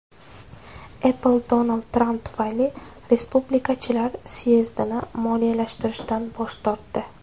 Apple Donald Tramp tufayli respublikachilar syezdini moliyalashtirishdan bosh tortdi.